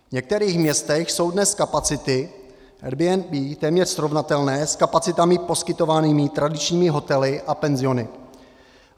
V některých městech jsou dnes kapacity Airbnb téměř srovnatelné s kapacitami poskytovanými tradičními hotely a penziony.